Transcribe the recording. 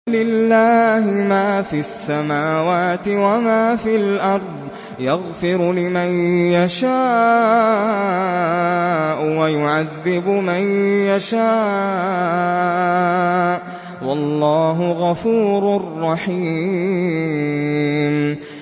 وَلِلَّهِ مَا فِي السَّمَاوَاتِ وَمَا فِي الْأَرْضِ ۚ يَغْفِرُ لِمَن يَشَاءُ وَيُعَذِّبُ مَن يَشَاءُ ۚ وَاللَّهُ غَفُورٌ رَّحِيمٌ